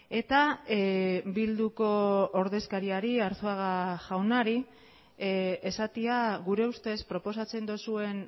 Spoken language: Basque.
eta bilduko ordezkariari arzuaga jaunari esatea gure ustez proposatzen duzuen